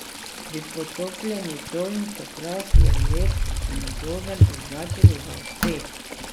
Bi potopljeni čoln, čeprav je lep in udoben, označili za uspeh?